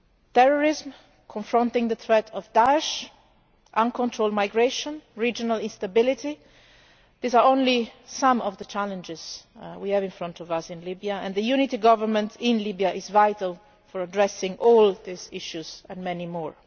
Terrorism, confronting the threat of Daesh, uncontrolled migration, regional instability these are only some of the challenges we have in front of us in Libya and the unity government in Libya is vital to addressing all these issues and many more.